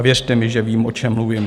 A věřte mi, že vím, o čem mluvím.